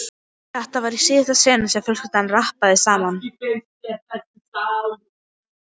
Þetta var í síðasta sinn sem fjölskyldan rabbaði saman.